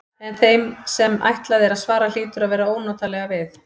En þeim sem ætlað er að svara hlýtur að verða ónotalega við.